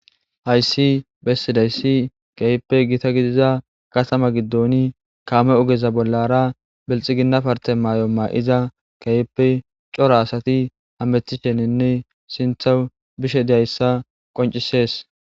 Hayssi bessidaysi keehippe gita gidida katama giddon kaamey ogeza bollara bilxigina mayo ma'iza keehippe cora asati hametisheninne sinththawu bishe dizaysa qonccisees.